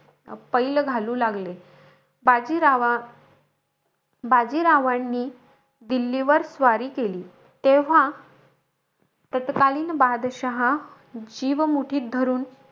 पैल घालू लागले. बाजीरावा बाजीरावांनी दिल्लीवर स्वारी केली. तेव्हा, तत्कालीन बादशाहा जीव मुठीत धरून,